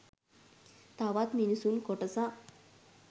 තවත් මිනිසුන් කොටසක්